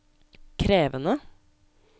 krevende